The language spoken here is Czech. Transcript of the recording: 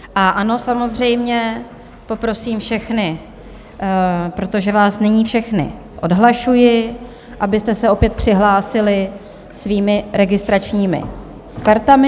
A ano, samozřejmě poprosím všechny, protože vás nyní všechny odhlašuji, abyste se opět přihlásili svými registračními kartami.